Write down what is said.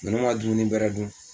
Nunnu ma dumuni bɛrɛ dun